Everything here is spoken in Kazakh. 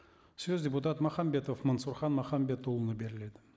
сөз депутат махамбетов мансұрхан махамбетұлына беріледі